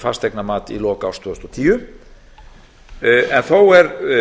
fasteignamat í lok árs tvö þúsund og tíu en þó er